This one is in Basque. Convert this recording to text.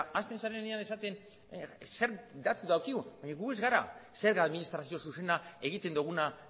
hasten zarenean esaten zer datu dakigun gu ez gara zerga administrazio zuzena egiten doguna